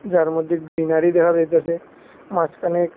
যার মধ্যে গ্রীনারি দেখা যাইতাসে মাঝখানে--